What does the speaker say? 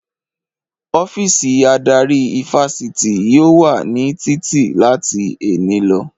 Ọ́fíìsì adarí ifásitì yóò wà ní títì láti èní lọ